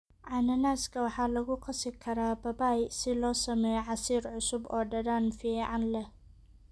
Cananaaska waxaa lagu qasi karaa babaay si loo sameeyo casiir cusub oo dhadhan fiican leh.